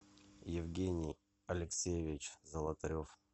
евгений алексеевич золотарев